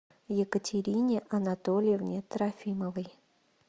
екатерине анатольевне трофимовой